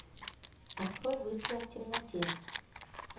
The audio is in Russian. открой выстрел в темноте